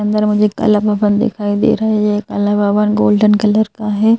अंदर मुझे काला भवन दिखाई दे रहे है कला भवन गोल्डन कलर का है।